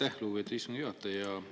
Aitäh, lugupeetud istungi juhataja!